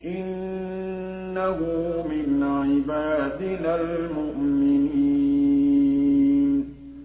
إِنَّهُ مِنْ عِبَادِنَا الْمُؤْمِنِينَ